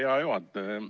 Hea juhataja!